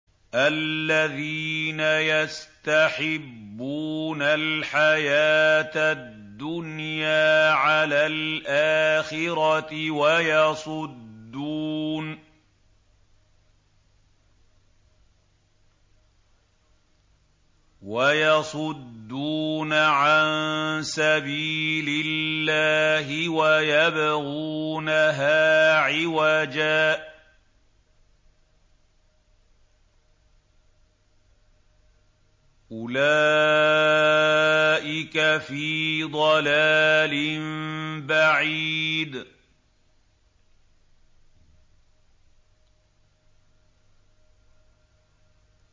الَّذِينَ يَسْتَحِبُّونَ الْحَيَاةَ الدُّنْيَا عَلَى الْآخِرَةِ وَيَصُدُّونَ عَن سَبِيلِ اللَّهِ وَيَبْغُونَهَا عِوَجًا ۚ أُولَٰئِكَ فِي ضَلَالٍ بَعِيدٍ